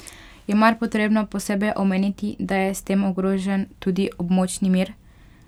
Je mar potrebno posebej omeniti, da je s tem ogrožen tudi območni mir?